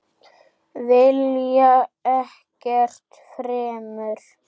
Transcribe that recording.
Vilja ekkert fremur.